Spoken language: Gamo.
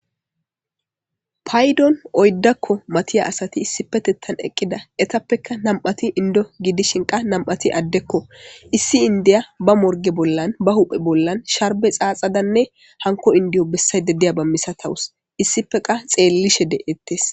Paydon oyddakko mathiya asathi issipetheththan eqida ethappekka nam7athi inddo gidishi qa nam7athhi addekoo;issi inddiyaa ba morgge bollan ba huuphe bollan sharbbe xaaxadanne hankko inddiyo bessaydda diyaaba misathawus;issippe qa xeellishe de7eeththes.